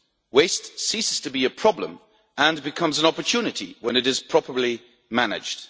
Waste ceases to be a problem and becomes an opportunity when it is properly managed.